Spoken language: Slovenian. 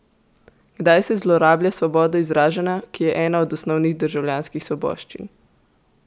Kdaj se zlorablja svobodo izražanja, ki je ena od osnovnih državljanskih svoboščin?